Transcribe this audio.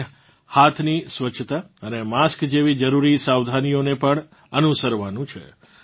આપણે હાથની સ્વસ્છતા અને માસ્ક જેવી જરૂરી સાવધાનીઓને પણ અનુસરવાનું છે